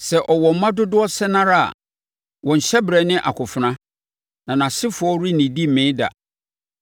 Sɛ ɔwɔ mma dodoɔ sɛn ara, wɔn hyɛberɛ ne akofena; na nʼasefoɔ rennidi mmee da.